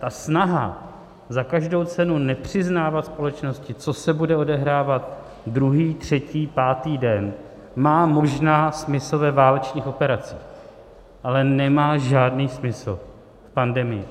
A snaha za každou cenu nepřiznávat společnosti, co se bude odehrávat druhý, třetí, pátý den, má možná smysl ve válečných operacích, ale nemá žádný smysl v pandemii.